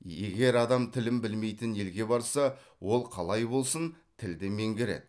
егер адам тілін білмейтін елге барса ол қалай болсын тілді меңгереді